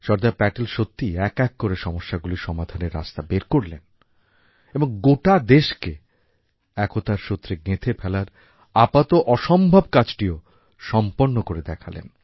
সর্দার প্যাটেল সত্যিই এক এক করে সমস্যাগুলির সমাধানের রাস্তা বের করলেন এবং গোটা দেশকে একতার সূত্রে গেঁথে ফেলার আপাত অসম্ভব কাজটিও সম্পন্ন করে দেখালেন